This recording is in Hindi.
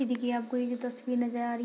इ देखिये इ जो आपको तस्वीर नज़र आ रही है --